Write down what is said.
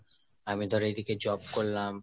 আমি ধরে এদিকে job করলাম